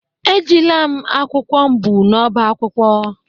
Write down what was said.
Ejila m akwụkwọ m bu n’ọ́bá akwụkwọ.